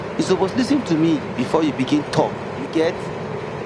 you suppose lis ten to me before you begin tok you get